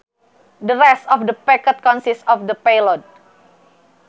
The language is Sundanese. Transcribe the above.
The rest of the packet consists of payload.